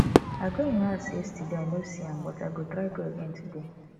i go im house yesterday i no see am but i go try go again today